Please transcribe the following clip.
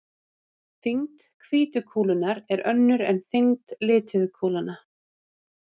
Þyngd hvítu kúlunnar er önnur en þyngd lituðu kúlnanna.